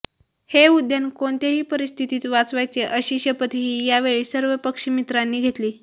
हे उद्यान कोणत्याही परिस्थितीत वाचवायचे अशी शपथही यावेळी सर्व पक्षिमित्रांनी घेतली